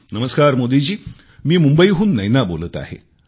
नमस्कार मोदी जी मी मुंबईहून नैना बोलत आहे